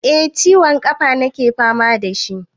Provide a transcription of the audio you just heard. Eh ciwon ƙafa nake fama da shi.